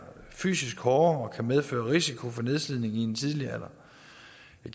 fysisk hårdere og medføre risiko for nedslidning i en tidlig alder